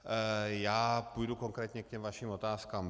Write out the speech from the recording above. Já půjdu konkrétně k těm vašim otázkám.